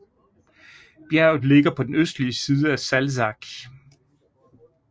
Bjerget ligger på den østlige side af Salzach